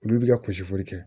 Olu bi ka kusi foli kɛ